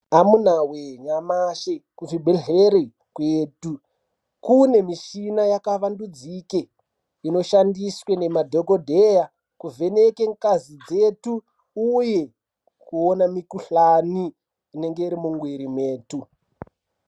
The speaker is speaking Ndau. Amuna wee nyamashi kuzvibhedhleri kwetu kune mushina yakavandudzike inoshandiswa nemadhokodhaya kuvheneke ngazi dzetu uye kuona mikohlani inenge iri mumwiri mwetu.